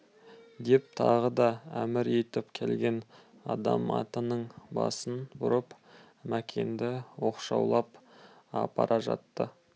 деп тағы да әмір етіп келген адам атының басын бұрып мәкенді оқшаулап апара жатты